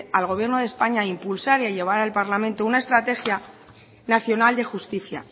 al gobierno de españa a impulsar y a llevar al parlamento una estrategia nacional de justicia